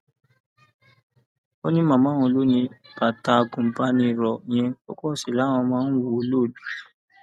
ó ní màmá òun ló ni bàtà àgùnbànìrò yẹn ọkọ sì làwọn máa ń wọ ọ lọ